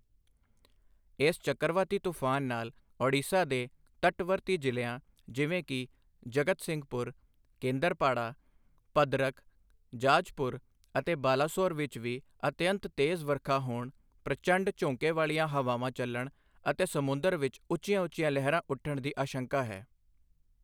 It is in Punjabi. ਇਸ ਚੱਕਰਵਾਤੀ ਤੂਫਾਨ ਨਾਲ ਓਡੀਸ਼ਾ ਦੇ ਤਟਵਰਤੀ ਜ਼ਿਲ੍ਹਿਆਂ ਜਿਵੇਂ ਕਿ ਜਗਤਸਿੰਘਪੁਰ, ਕੇਂਦਰਪਾੜਾ, ਭਦਰਕ, ਜਾਜਪੁਰ ਅਤੇ ਬਾਲਾਸੋਰ ਵਿੱਚ ਵੀ ਅਤਿਅੰਤ ਤੇਜ਼ ਵਰਖਾ ਹੋਣ, ਪ੍ਰਚੰਡ ਝੋਂਕੇ ਵਾਲੀਆਂ ਹਵਾਵਾਂ ਚਲਣ ਅਤੇ ਸਮੁੰਦਰ ਵਿੱਚ ਉੱਚੀਆਂ ਉੱਚੀਆਂ ਲਹਿਰਾਂ ਉੱਠਣ ਦੀ ਆਸ਼ੰਕਾ ਹੈ।